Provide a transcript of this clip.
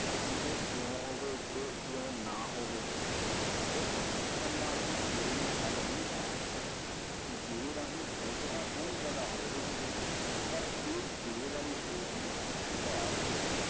ਜੇ ਇਉਂ ਹੋਵੇ, ਜੇ ਇਉਂ ਨਾ ਹੋਵੇ, ਸਿਰਫ਼ ਸੋਚਣ ਨਾਲ ਹੀ ਜੇ ਨੇ ਹੱਲ ਨਹੀਂ ਹੋਣਾ, ਜੇ ਰਾਹੀਂ ਸੋਚ ਤਾਂ ਸੋਹਣੀ ਪੈਦਾ ਹੋ ਰਹੀ ਹੈ, ਪਰ ਇਹ ਜੇ ਵਾਲੀ ਸੋਚ ਨੂੰ ਸੰਭਾਲ ਕੇ